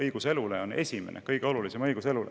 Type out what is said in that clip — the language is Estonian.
Õigus elule on esimene, kõige olulisem õigus.